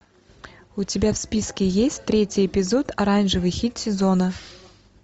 у тебя в списке есть третий эпизод оранжевый хит сезона